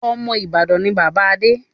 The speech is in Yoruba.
Ọmọ Ìbàdàn ni bàbá Adé